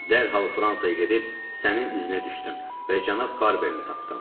Dərhal Fransaya gedib sənin iznə düşdüm və cənab Barberini tapdım.